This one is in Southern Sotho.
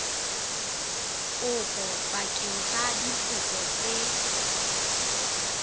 kopo bakeng sa dikopo tse